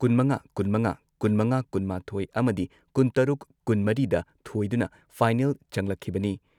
ꯀꯨꯟꯃꯉꯥ ꯀꯨꯟꯃꯉꯥ, ꯀꯨꯟꯃꯉꯥ ꯀꯨꯟꯃꯥꯊꯣꯏ ꯑꯃꯗꯤ ꯀꯨꯟꯇꯔꯨꯛ ꯀꯨꯟꯃꯔꯤꯗ ꯊꯣꯏꯗꯨꯅ ꯐꯥꯏꯅꯦꯜ ꯆꯪꯂꯛꯈꯤꯕꯅꯤ ꯫